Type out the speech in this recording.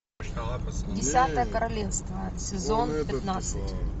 десятое королевство сезон пятнадцать